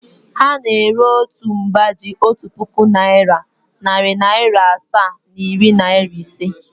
Ha na-ere otu mba ji otu puku naịra, narị naịra asaa na iri naịra ise.